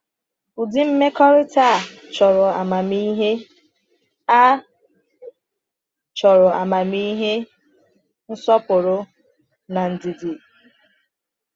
Ụdị mmekọrịta a chọrọ amamihe, a chọrọ amamihe, nsọpụrụ, na ndidi.”